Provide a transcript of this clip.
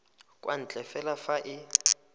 kwa ntle fela fa e